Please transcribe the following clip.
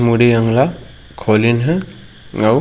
मुड़ी अंग ला खोलीन हेअऊ--